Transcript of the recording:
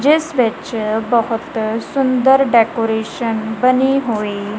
ਜਿਸ ਵਿੱਚ ਬਹੁਤ ਸੁੰਦਰ ਡੈਕੋਰੇਸ਼ਨ ਬਣੀ ਹੋਈ--